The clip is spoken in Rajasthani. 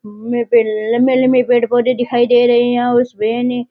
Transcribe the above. मेपे लंबे लंबे पेड़ पोधे दिखाई दे रहे है और उसपे ने --